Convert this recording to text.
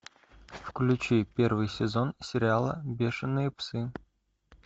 включи первый сезон сериала бешеные псы